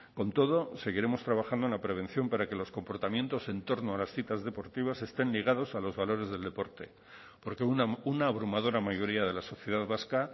con todo seguiremos trabajando en la prevención para que los comportamientos en torno a las citas deportivas estén ligados a los valores del deporte porque una abrumadora mayoría de la sociedad vasca